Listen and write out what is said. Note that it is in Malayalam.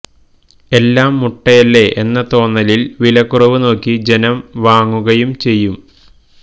എല്ലാം മുട്ടയല്ലേ എന്ന തോന്നലില് വിലക്കുറവ് നോക്കി ജനം വാങ്ങുകയും ചെയ്യും